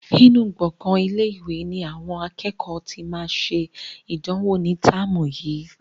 Nínú gbongan ilé-ìwé ni àwọn akẹ́kọ̀ọ́ tí máa ṣe ìdánwò ní táàmù yìí.